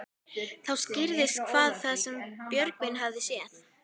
Þá skýrðist hvað það var sem Björgvin hafði séð.